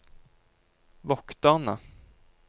vokterne